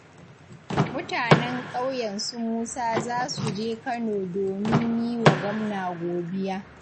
Mutanen ƙauyen su Musa za su je Kano domin yi wa gwamna godiya